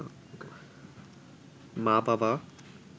মা-বাবা